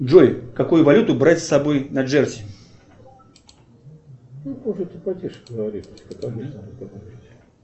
джой какую валюту брать с собой на джерси